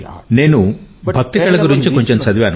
నేను భక్తి కళ గురించి కొంచెం చదివాను